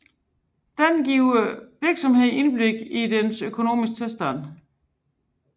Denne giver virksomheden et indblik i dens økonomiske tilstand